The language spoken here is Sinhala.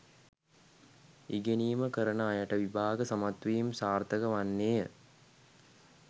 ඉගෙනීම කරන අයට විභාග සමත්වීම් සාර්ථක වන්නේය